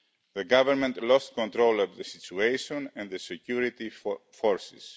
The government lost control of the situation and the security forces.